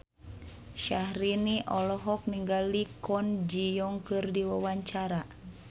Syaharani olohok ningali Kwon Ji Yong keur diwawancara